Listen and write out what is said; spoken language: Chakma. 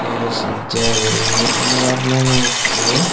S J guriney flower nangey ekko.